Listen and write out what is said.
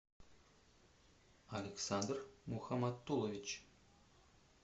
александр мухаматтулович